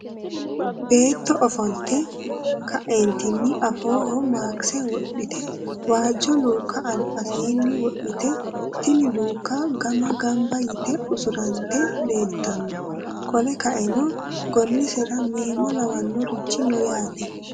Beetto ofolitte ka'eenitinni afoohono makise wodhitte waajo luukka alibaseenni wodhitte tinni luuka gama gabba yitte usuranitte leelitanno qole kaeno gonnesera meemo lawanorichino no yaate.